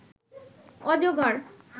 অজগর